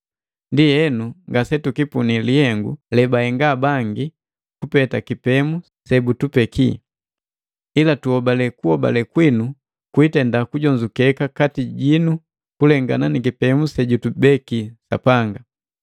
Ndienu, ngasetukipunii lihengu lebahenga bangi kupeta kipemu sebutupeki, ila tuhobale kuhobale kwinu kwiitenda kujonzukeka kati jinu kulengana ni kipemu sejutubeki Sapanga.